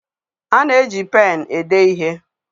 A na-eji pén ede ihe